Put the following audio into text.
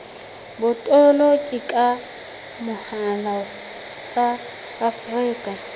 botoloki ka mohala tsa afrika